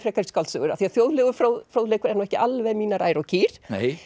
skáldsögur af því að þjóðlegur fróðleikur er nú ekki alveg mínar ær og kýr